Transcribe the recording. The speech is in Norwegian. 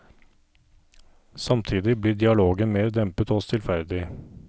Samtidig blir dialogen mer dempet og stillferdig.